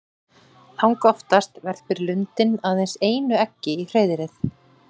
Langoftast verpir lundinn aðeins einu eggi í hreiðrið.